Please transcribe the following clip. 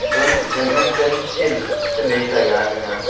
pa badminton field chaley taiga aga ja.